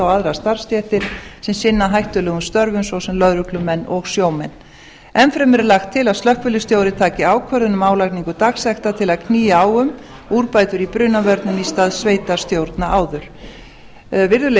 aðrar starfsstéttir sem sinna hættulegum störfum svo sem lögreglumenn og sjómenn enn fremur er lagt til að slökkviliðsstjóri taki ákvörðun um álagningu dagsekta til að knýja á um úrbætur í brunavörnum í stað sveitarstjórna áður virðulegi